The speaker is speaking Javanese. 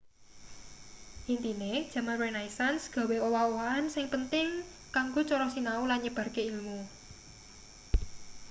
intine jaman renaissance gawe owah-owahan sing penting kanggo cara sinau lan nyebarke ilmu